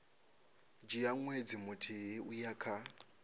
dzhia ṅwedzi muthihi uya kha